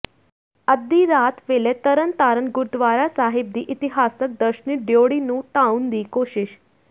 ਅੱਧੀ ਰਾਤ ਵੇਲੇ ਤਰਨ ਤਾਰਨ ਗੁਰਦੁਆਰਾ ਸਾਹਿਬ ਦੀ ਇਤਿਹਾਸਕ ਦਰਸ਼ਨੀ ਡਿਊੜੀ ਨੂੰ ਢਾਹੁਣ ਦੀ ਕੋਸ਼ਿਸ਼